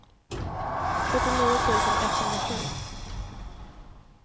sjuttionio tusen etthundrasju